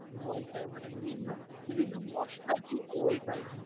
ওইটাই মানে, বিভিন্ন বিভিন্ন মসলা দিয়ে, ওইটাই